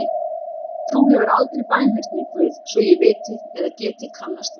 Þú hefur aldrei bænheyrt mig Guð svo ég viti eða geti kannast við.